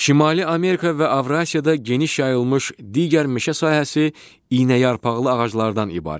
Şimali Amerika və Avrasiyada geniş yayılmış digər meşə sahəsi iynəyarpaqlı ağaclardan ibarətdir.